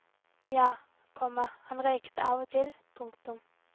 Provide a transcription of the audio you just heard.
Ja, komma han røykte av og til. punktum